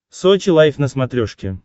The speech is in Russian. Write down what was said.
сочи лайв на смотрешке